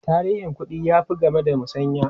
Tarihin kuɗi ya fi game da musanya.